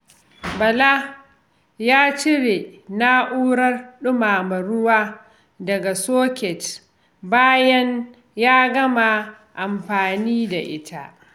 Bala ya cire na’urar dumama ruwa daga soket bayan ya gama amfani da ita.